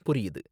புரியுது